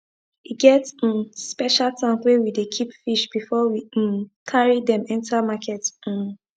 e get um special tank wey we dey keep fish before we um carry them enter market um